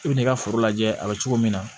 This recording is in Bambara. I bi n'i ka foro lajɛ a bɛ cogo min na